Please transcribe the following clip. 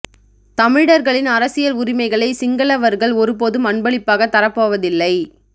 தமிழர்களின் அரசியல் உரிமைகளை சிங்களவர்கள் ஒரு போதும் அன்பளிப்பாகத் தரப் போவதில்லை